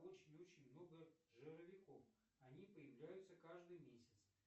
очень очень много жировиков они появляются каждый месяц